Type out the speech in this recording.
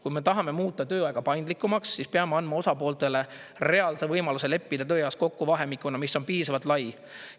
Kui me tahame muuta tööaega paindlikumaks, siis peame andma osapooltele reaalse võimaluse leppida tööajas kokku vahemikuna, mis on piisavalt lai.